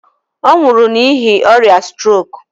Ọ nwụrụ n'ihi ọrịa strok.